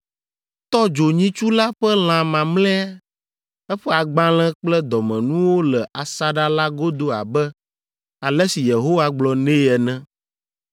Etɔ dzo nyitsu la ƒe lã mamlɛa, eƒe agbalẽ kple dɔmenuwo le asaɖa la godo abe ale si Yehowa gblɔ nɛ ene.